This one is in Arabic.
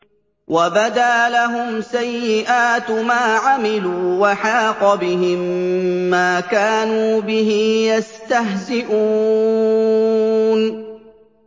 وَبَدَا لَهُمْ سَيِّئَاتُ مَا عَمِلُوا وَحَاقَ بِهِم مَّا كَانُوا بِهِ يَسْتَهْزِئُونَ